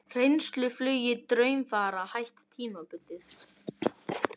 Reynsluflugi Draumfara hætt tímabundið